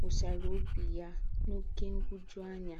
wụsárà óbì yà n’ókè nhụ̀jùàńyà.